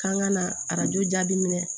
K'an ka na arajo jaabi minɛ